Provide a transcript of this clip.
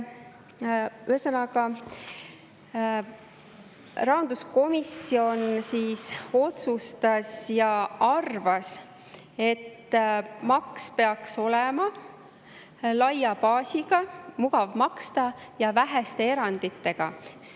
Ühesõnaga, rahanduskomisjon arvas ja otsustas, et maks peaks olema laia baasiga, mugav maksta ja väheste eranditega.